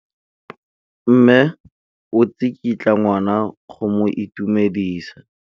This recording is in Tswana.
Mme o tsikitla ngwana go mo itumedisa.